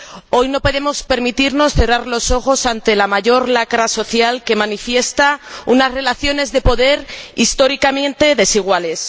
Hoy no podemos permitirnos cerrar los ojos ante la mayor lacra social que manifiesta unas relaciones de poder históricamente desiguales.